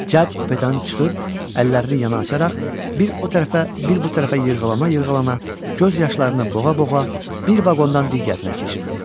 Cəd kupedən çıxıb əllərini yana açaraq, bir o tərəfə, bir bu tərəfə yırğalana-yırğalana, göz yaşlarını boğa-boğa bir vaqondan digərinə keçirdi.